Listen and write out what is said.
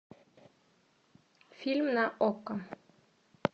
фильм на окко